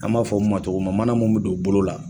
An b'a fɔ min ma cogo mun na mana mun bɛ don bolo la.